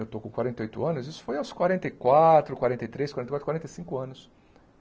Eu estou com quarenta e oito anos, isso foi aos quarenta e quatro, quarenta e três, quarenta e quatro, quarenta e cinco anos.